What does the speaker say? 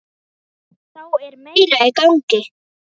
Þá er meira í gangi.